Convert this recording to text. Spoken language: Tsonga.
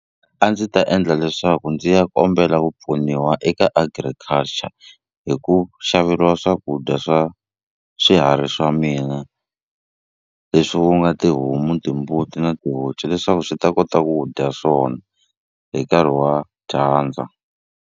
A ndzi ta endla leswaku ndzi ya kombela ku pfuniwa eka agriculture hi ku xaveriwa swakudya swa swiharhi swa mina leswi ku nga tihomu timbuti na tihonci leswaku swi ta kota ku dya swona hi nkarhi wa dyandza.